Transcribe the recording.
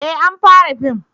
eh an fara fim